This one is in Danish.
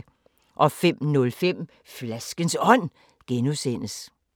05:05: Flaskens Ånd (G)